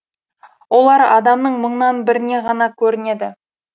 олар адамның мыңнан бірінен ғана көрінеді